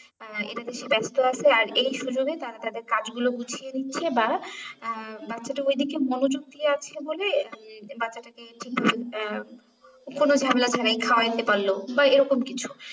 আহ এটাতে সে ব্যস্ত আছে আর এই সুযোগে তারা তাদের কাজ গুলো গুছিয়ে নিচ্ছে বা আহ বাচ্ছাটা ওইদিকে মনোযোগ দিয়ে আছে বলে বাচ্ছাটাকে আহ কোনো ঝামেলাটা নেই খাওয়া দিতে পারলো বা এরকম কিছু